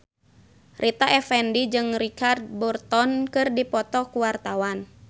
Rita Effendy jeung Richard Burton keur dipoto ku wartawan